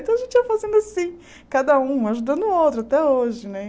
Então a gente ia fazendo assim, cada um ajudando o outro, até hoje, né?